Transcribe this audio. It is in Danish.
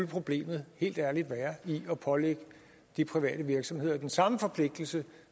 problemet helt ærligt skulle være i at pålægge de private virksomheder den samme forpligtelse